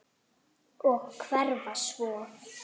Og hverfa svo.